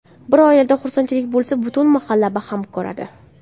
Bir oilada xursandchilik bo‘lsa, butun mahalla baham ko‘radi.